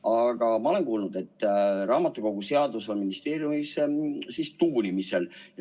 Aga ma olen kuulnud, et raamatukoguseadus on ministeeriumis tuunimisel.